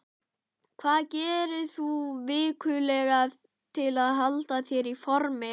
Hvað gerir þú vikulega til að halda þér í formi?